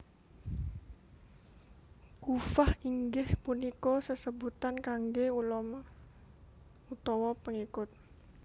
Kuffah inggih punika sesebutan kangge ulama utawa pengikut